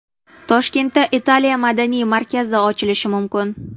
Toshkentda Italiya madaniy markazi ochilishi mumkin.